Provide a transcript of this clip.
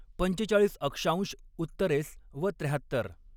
पंचेचाळीस अक्षांश उत्तरेस व त्र्याहत्तर.